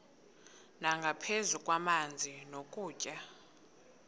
nangaphezu kwamanzi nokutya